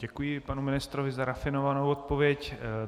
Děkuji panu ministrovi za rafinovanou odpověď.